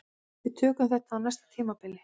Við tökum þetta á næsta tímabili